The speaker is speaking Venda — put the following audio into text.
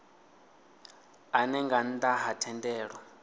ane nga nnda ha thendelo